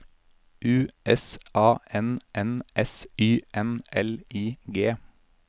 U S A N N S Y N L I G